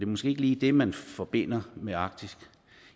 måske ikke lige det man forbinder med arktis